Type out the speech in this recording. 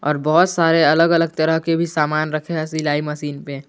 और बहोत सारे अलग अलग तरह के भी सामान रखे है सिलाई मशीन पे।